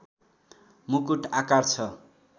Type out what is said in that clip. मुकुट आकार छ